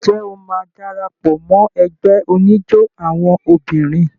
Ǹjẹ́ o máa dara pọ̀ mọ́ ẹgbẹ́ oníjó àwọn obìnrin?